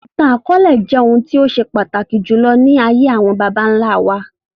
Ìtàn akọọlẹ jẹ́ ohun tó ṣe pàtàkì jùlọ ní ayé àwọn bàbá nlá wa